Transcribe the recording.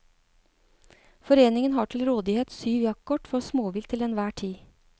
Foreningen har til rådighet syv jaktkort for småvilt til enhver tid.